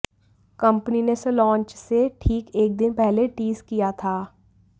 company ने इसे launch से ठीक एक दिन पहले टीज किया था